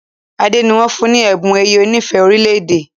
Ade ní wón fún ní Ẹ̀bùn ẹ̀yẹ onífẹ̀ẹ́ orílẹ̀-èdè